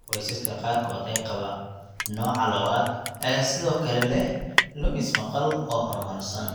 Qoysaska qaarkood ee qaba nooca II ayaa sidoo kale leh lumis maqal oo horumarsan.